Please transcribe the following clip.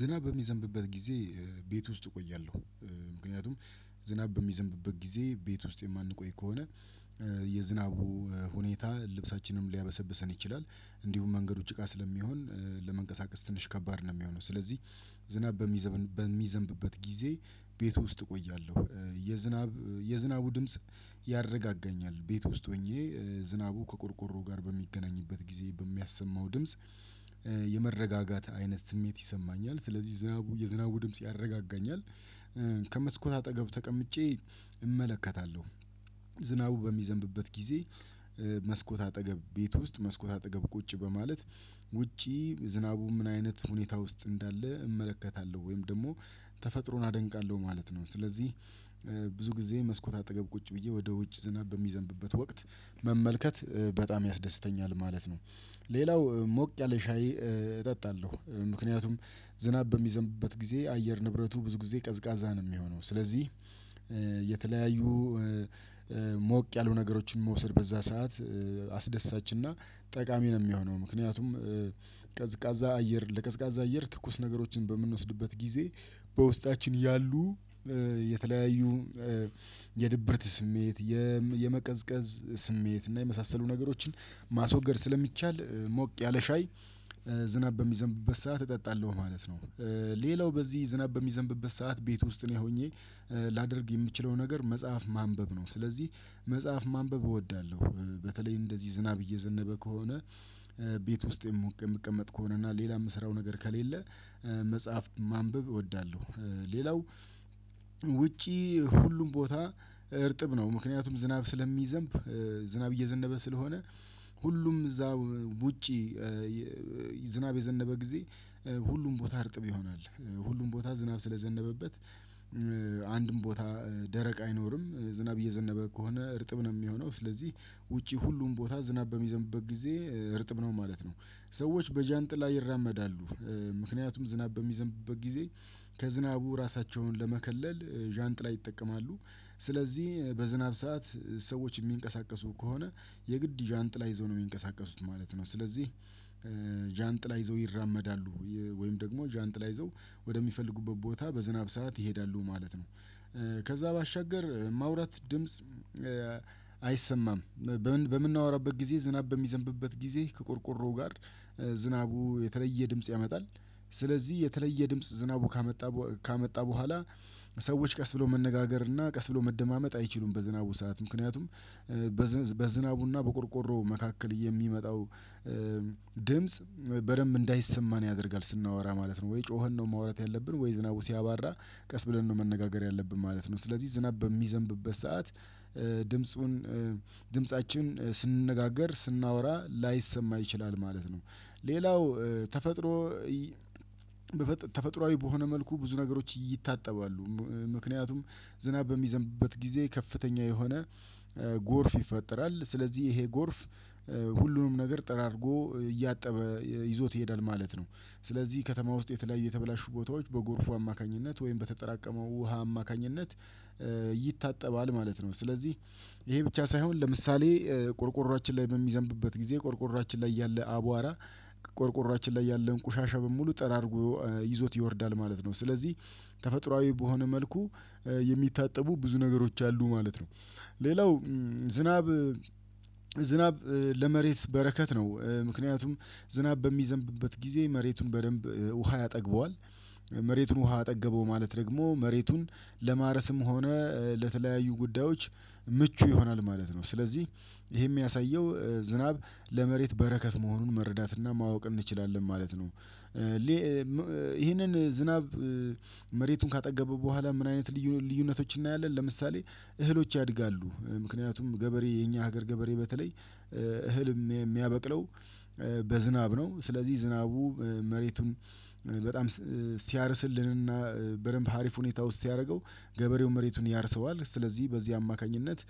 ዝናብ በሚዘንብበት ጊዜ ቤት ውስጥ እቆያለሁ። ምክንያቱም ዝናብ በሚዘንብበት ጊዜ ቤት ውስጥ የማንቆይ ከሆነ የዝናቡ ሁኔታ ልብሳችንንም ሊያበሰብሰን ይችላል። እንዲሁም መንገዶች ጭቃ ስለሚሆን ለመንቀሳቀስ ትንሽ ከባድ ነው እሚሆነው። ስለዚህ ዝናብ በሚዘንብበት ጊዜ ቤቱ ውስጥ እቆያለሁ። የዝናብ የዝናቡ ድምጽ ያረጋጋኛል። ቤት ውስጥ ሆኜ ዝናቡ ከቆርቆሮ ጋር በሚገናኝበት ጊዜ በሚያሰማው ድምጽ የመረጋጋት አይነት ስሜት ይሰማኛል ስለዚህ ዝናቡ የዝናቡ ድምጽ ያረጋጋኛል። ከመስኮት አጠገብ ተቀምጬ እመለከታለሁ። ዝናቡ በሚዘንብበት ጊዜ መስኮት አጠገብ ቤት ውስጥ መስኮት አጠገብ ቁጭ በማለት ውጪ ዝናቡ ምን አይነት ሁኔታ ውስጥ እንዳለ እመለከታለሁ ወይም ደግሞ ተፈጥሮን አደንቃለሁ ማለት ነው። ስለዚህ ብዙ ጊዜ መስኮት አጠገብ ቁጭ ብዬ ወደ ውጭ ዝናብ በሚዘንብበት ወቅት መመልከት በጣም ያስደስተኛል ማለት ነው። ሌላው ሞቅ ያለ ሻይ እጠጣለሁ። ምክንያቱም ዝናብ በሚዘንብበት ጊዜ አየር ንብረቱ ብዙ ጊዜ ቀዝቃዛ ነው እሚሆነው። ስለዚህ የተለያዩ ሞቅ ያሉ ነገሮችን መውሰድ በዛ ሰዓት አስደሳችና ጠቃሚ ነው እሚሆነው። ምክንያቱም ቀዝቃዛ አየር ለቀዝቃዛ አየር ትኩስ ነገሮችን በምንወስድበት ጊዜ በውስጣችን ያሉ የተለያዩ የድብርት ስሜት የመቀዝቀዝ ስሜት እና የመሳሰሉ ነገሮችን ማስወገድ ስለሚቻል ሞቅ ያለ ሻይ ዝናብ በሚዘንብበት ሰዓት እጠጣለሁ ማለት ነው። ሌላው በዚህ ዝናብ በሚዘንብበት ሰዓት ቤት ውስጥ እኔ ሆኜ ላደርግ የምችለው ነገር መጽሐፍ ማንበብ ነው። ስለዚህ መጽሐፍ ማንበብ እወዳለሁ። በተለይ እንደዚህ ዝናብ እየዘነበ ከሆነ ቤት ውስጥ የምቀመጥ ከሆነ እና ሌላ የምሰራው ነገር ከሌለ መጽሐፍት ማንበብ እወዳለሁ። ሌላው ውጪ ሁሉም ቦታ እርጥብ ነው። ምክንያቱም ዝናብ ስለሚዘንብ ዝናብ እየዘነበ ስለሆነ ሁሉም እዛ ውጪ ዝናብ የዘነበ ጊዜ ሁሉም ቦታ እርጥብ ይሆናል። ሁሉም ቦታ ዝናብ ስለዘነበበት አንድም ቦታ ደረቅ አይኖርም። ዝናብ እየዘነበ ከሆነ እርጥብ ነው እሚሆነው ስለዚህ ውጪ ሁሉም ቦታ ዝናብ በሚዘንብበት ጊዜ እርጥብ ነው ማለት ነው። ሰዎች በዣንጥላ ይራመዳሉ። ምክንያቱም ዝናብ በሚዘንብበት ጊዜ ከዝናቡ ራሳቸውን ለመከለል ዣንጥላ ይጠቀማሉ። ስለዚህ በዝናብ ሰዓት ሰዎች እሚንቀሳቀሱ ከሆነ የግድ ዣንጥላ ይዘው ነው እሚንቀሳቀሱት ማለት ነው። ስለዚህ ዣንጥላ ይዘው ይራመዳሉ። ወይም ደግሞ ዣንጥላ ይዘው ወደሚፈልጉበት ቦታ በዝናብ ሰዓት ይሄዳሉ ማለት ነው። ከዛ ባሻገር ማውራት ድምጽ አይሰማም። በምናወራበት ጊዜ ዝናብ በሚዘንብበት ጊዜ ከቆርቆሮው ጋር ዝናቡ የተለየ ድምጽ ያመጣል። ስለዚህ የተለየ ድምጽ ዝናቡ ካመጣ ካመጣ በኋላ ሰዎች ቀስ ብለው መነጋገር እና ቀስ ብሎ መደማመጥ አይችሉም። በዝናቡ ሰዓት ምክንያቱም በዝናቡና በቆርቆሮው መካከል የሚመጣው ድምጽ በደንብ እንዳይሰማን ያደርጋል ስናወራ ማለት ነው። ወይ ጮኸን ነው ማውራት ያለብን ወይ ዝናቡ ሲያባራ ቀስ ብለን ነው መነጋገር ያለብን ማለት ነው። ስለዚህ ዝናብ በሚዘንብበት ሰዓት ድምጹን ድምፃችን ስንነጋገር ስናወራ ላይሰማ ይችላል ማለት ነው። ሌላው ተፈጥሮ ተፈጥሮአዊ በሆነ መልኩ ብዙ ነገሮች ይታጠባሉ። ምክንያቱም ዝናብ በሚዘንብበት ጊዜ ከፍተኛ የሆነ ጎርፍ ይፈጠራል ስለዚህ ይሄ ጎርፍ ሁሉንም ነገር ጠራርጎ እያጠበ ይዞት ይሄዳል ማለት ነው። ስለዚህ ከተማ ውስጥ የተለያዩ የተበላሹ ቦታዎች በጎርፉ አማካኝነት ወይም በተጠራቀመው ውሃ አማካኝነት ይታጠባል ማለት ነው። ስለዚህ ይሄ ብቻ ሳይሆን ለምሳሌ ቆርቆሯችን ላይ በሚዘንብበት ጊዜ ቆርቆሯችን ላይ ያለ አቧራ ቆርቆሯችን ላይ ያለን ቁሻሻ በሙሉ ጠራርጎ ይዞት ይወርዳል ማለት ነው። ስለዚህ ተፈጥሮአዊ በሆነ መልኩ የሚታጠቡ ብዙ ነገሮች አሉ ማለት ነው። ሌላው ዝናብ ዝናብ ለመሬት በረከት ነው። ምክንያቱም ዝናብ በሚዘንብበት ጊዜ መሬቱን በደንብ ውሃ ያጠግበዋል መሬቱን ውሃ አጠገበው ማለት ደግሞ መሬቱን ለማረስም ሆነ ለተለያዩ ጉዳዮች ምቹ ይሆናል ማለት ነው። ስለዚህ ይሄ እሚያሳየው ዝናብ ለመሬት በረከት መሆኑን መረዳትና ማወቅ እንችላለን ማለት ነው። ይሄንን ዝናብ መሬቱን ካጠገበ በኋላ ምን አይነት ልዩነቶችን እናያለን? ለምሳሌ እህሎች ያድጋሉ። ምክንያቱም ገበሬ የኛ ሀገር ገበሬ በተለይ እህልም የሚያበቅለው በዝናብ ነው። ስለዚህ ዝናቡ መሬቱን በጣም ሲያርስልንና በደንብ ሀሪፍ ሁኔታ ውስጥ ሲያደርገው ገበሬው መሬቱን ያርሰዋል ስለዚህ በዚህ አማካኝነት